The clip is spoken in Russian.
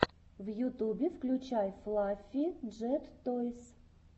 в ютубе включай флаффи джет тойс